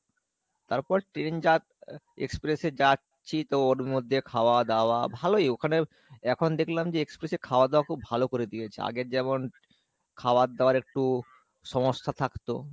তারপর train express এ যাচ্ছি তো ওর মধ্যে খাওয়া দাওয়া ভালোই ওখানে এখন দেখলাম যে express এ খাওয়া দাওয়া খুব ভালো করে দিয়েছে আগের যেমন খাওয়ার দাওয়ার একটু সমস্যা থাকতো,